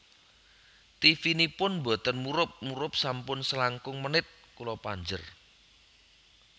Tivinipun mboten murup murup sampun selangkung menit kula panjer